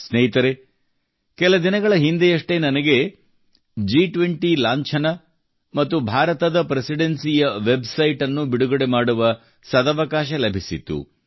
ಸ್ನೇಹಿತರೇ ಕೆಲ ದಿನಗಳ ಹಿಂದೆಯಷ್ಟೇ ನನಗೆ G20 ಲಾಂಛನ ಮತ್ತು ಭಾರತದ ಪ್ರೆಸಿಡೆನ್ಸಿಯ ವೆಬ್ಸೈಟ್ ಅನ್ನು ಬಿಡುಗಡೆ ಮಾಡುವ ಸದವಕಾಶ ಲಭಿಸಿತ್ತು